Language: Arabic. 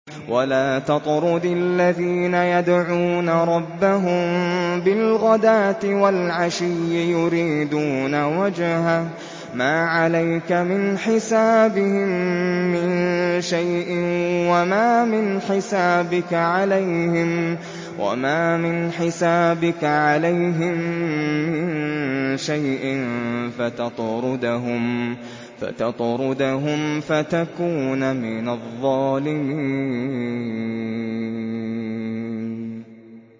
وَلَا تَطْرُدِ الَّذِينَ يَدْعُونَ رَبَّهُم بِالْغَدَاةِ وَالْعَشِيِّ يُرِيدُونَ وَجْهَهُ ۖ مَا عَلَيْكَ مِنْ حِسَابِهِم مِّن شَيْءٍ وَمَا مِنْ حِسَابِكَ عَلَيْهِم مِّن شَيْءٍ فَتَطْرُدَهُمْ فَتَكُونَ مِنَ الظَّالِمِينَ